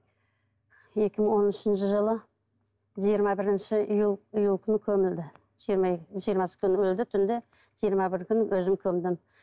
екі мың он үшінші жылы жиырма бірінші июль күні көмілді жиырмасы күні өлді түнде жиырма бірі күні өзім көмдім